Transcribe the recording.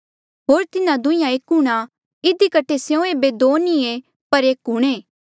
होर तिन्हा दुंहींया एक हूंणां इधी कठे स्यों ऐबे दो नी पर एक हूंणे